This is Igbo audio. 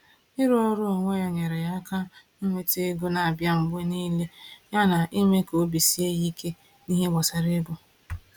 Ịrụ ọrụ onwe ya nyere ya aka nweta ego na-abịa mgbe niile yana ime ka obi ya sie ike n’ihe gbasara ego.